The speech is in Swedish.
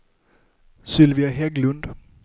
Sylvia Hägglund